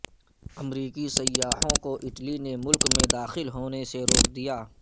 امریکی سیاحوں کو اٹلی نے ملک میں داخل ہونے سے روک دیا